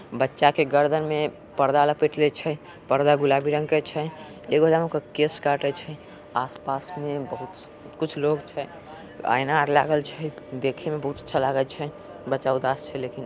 बच्चा के गर्दन मे पर्दा लपटले छे पर्दा गुलाबी रंग के छै एगो वहाँ केश काटे छे आस पास बहुत कुछ लोग छे आईना र लगल छै देखे में बहुत अच्छा लगाए छै बच्चा उदास छे लेकिन--